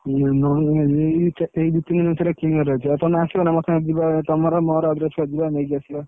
ଏଇ ଦି ତିନ ମାସରେ କିଣିବାର ଅଛି ଆଉ ତମେ ଆସିବ ନା ମୋ ସାଙ୍ଗରେ ଯିବା ତଯମର ମୋର ଯିବା ନେଇକି ଆସିବା